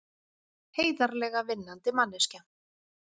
Heiðarlega vinnandi manneskja.